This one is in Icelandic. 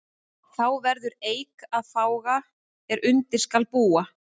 Þá verður eik að fága er undir skal búa.